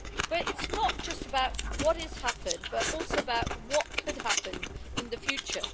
But it is not just about what has happened, but also about what could happen in the future.